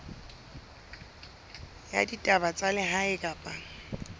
ya ditaba tsa lehae kapa